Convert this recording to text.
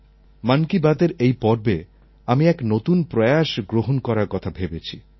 মন কি বাতএর এই পর্বে আমি এক নতুন প্রয়াস গ্রহণ করার কথা ভেবেছি